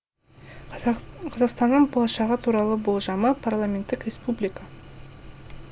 қазақстанның болашағы туралы болжамы парламенттік республика